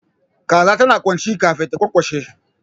Kaza tana kwanci kafin ta kyankyashe